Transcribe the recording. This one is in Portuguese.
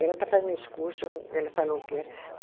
E ela está fazendo esse curso, ela falou o que era.